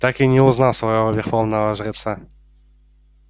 так и не узнав своего верховного жреца